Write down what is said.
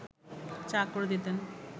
চা করে দিতেন